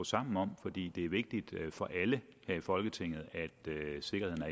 sammen om fordi det er vigtigt for alle her i folketinget